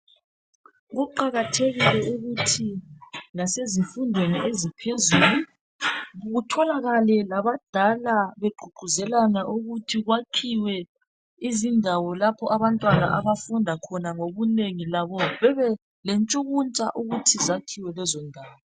Kuqakathekile ukuthi lasezifundweni eziphezulu kutholakale labadala begqugquzelana ukuthi kwakhiwe izindawo lapho abantwana abafunda khona ngobunengi, labo bebelentshukuntsha ukuthi zakhiwe lezo ndawo.